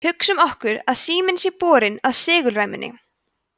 hugsum okkur að síminn sé borinn að segulræmunni